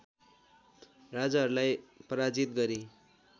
राजाहरूलाई पराजित गरी